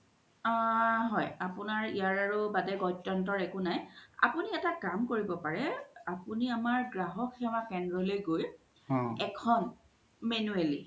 আ হয় আপুনাৰ ইয়াৰও বাদে গত্ৰন্যো একো নাই আপুনি এটা কাম কৰিব পাৰে আপুনি আমাৰ গ্ৰাহ্ক সেৱা কেন্দ্ৰা লই গই এখন manually